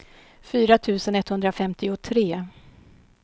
fyra tusen etthundrafemtiotre